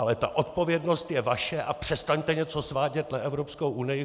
Ale ta odpovědnost je vaše a přestaňte něco svádět na Evropskou unii!